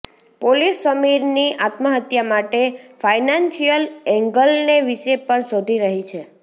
police સમીરની આત્મહત્યા માટે ફાઈનાન્સિયલ એંગલને વિશે પણ શોધી રહી છે